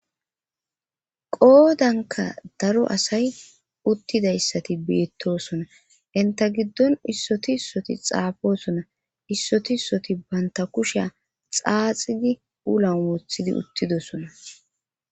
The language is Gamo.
Qoodanka daro asay uttidayssati biittosona inta giddon issoti issoti xaafosona issoti ssoti banta kushiya xaaxidi ulan wothidi uttidosona.